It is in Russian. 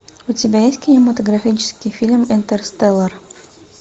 у тебя есть кинематографический фильм интерстеллар